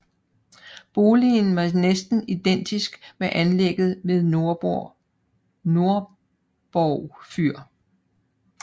Boligen var næsten identisk med anlægget ved Nordborg Fyr